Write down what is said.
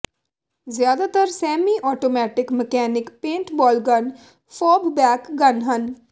ਜ਼ਿਆਦਾਤਰ semi automatic mechanic paintball gun ਫੌਬਬੈਕ gun ਹਨ